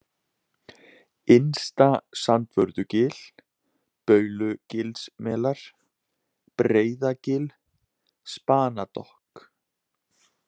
Innsta-Sandvörðugil, Baulugilsmelar, Breiðagil, Spanadokk